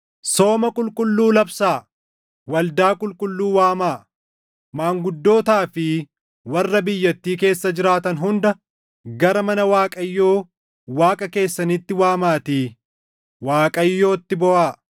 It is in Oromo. Sooma qulqulluu labsaa; waldaa qulqulluu waamaa. Maanguddootaa fi warra biyyattii keessa jiraatan hunda gara mana Waaqayyoo Waaqa keessaniitti waamaatii Waaqayyootti booʼaa.